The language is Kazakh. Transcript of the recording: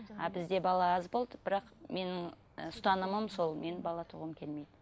а бізде бала аз болды бірақ менің ы ұстанымым сол мен бала туғым келмейді